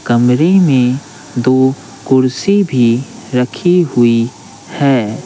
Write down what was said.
कमरे में दो कुर्सी भी रखी हुई है।